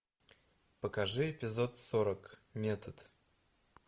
покажи эпизод сорок метод